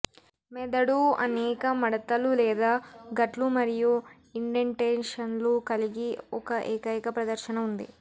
మెదడు అనేక మడతలు లేదా గట్లు మరియు ఇండెంటేషన్లు కలిగి ఒక ఏకైక ప్రదర్శన ఉంది